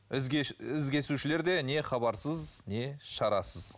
із кесушілер де не хабарсыз не шарасыз